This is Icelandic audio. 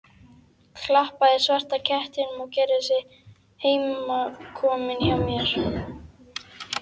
Klappaði svarta kettinum sem gerði sig heimakominn hjá mér.